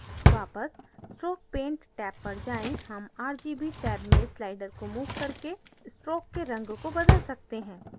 वापस stroke paint rgb पर जाएँ हम rgb rgb में sliders को मूव करके stroke के रंग को बदल सकते हैं